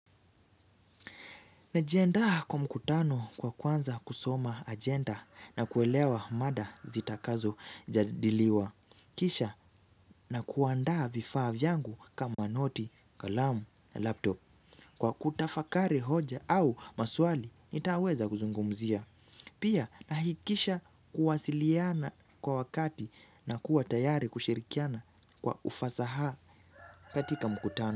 Najiandaa kwa mkutano kwa kwanza kusoma agenda na kuelewa mada zitakazojadiliwa. Kisha na kuandaa vifaa vyangu kama noti, kalamu, laptop. Kwa kutafakari hoja au maswali, nitaweza kuzungumzia. Pia nahakikisha kuwasiliana kwa wakati na kuwa tayari kushirikiana kwa ufasaha katika mkutano.